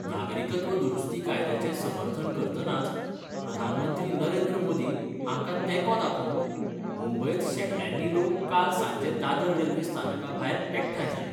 नागरिकत्व दुरुस्ती कायद्याचे समर्थन करतनाच प्रधानमंत्री नरेंद्र मोदी हांका तेको दाखोवंक मुंबयत शेकड्यानी लोक काल सांजे दादर रेल्वे स्थानकाभायर एकठाय जाले.